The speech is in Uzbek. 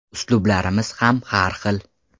Uslublarimiz ham har xil.